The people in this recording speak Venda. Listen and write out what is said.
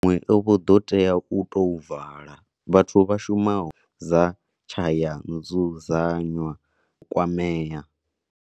Maṅwe o vho ḓo tea u tou vala. Vhathu vha shumaho dza tshayanzudzanywaz kwamea.